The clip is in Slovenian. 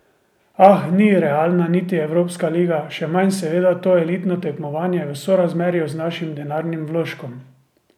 Ah, ni realna niti evropska liga, še manj seveda to elitno tekmovanje v sorazmerju z našim denarnim vložkom.